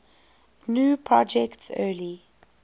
gnu project's early